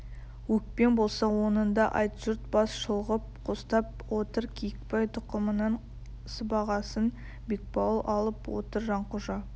өкпең болса оныңды айт жұрт бас шұлғып қостап отыр киікбай тұқымының сыбағасын бекбауыл алып отыр жанқожа